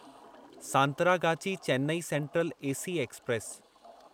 Santragachi Chennai Central AC express